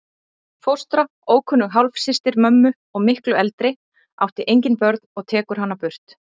Fóstra, ókunnug hálfsystir mömmu og miklu eldri, átti engin börnin og tekur hana burt.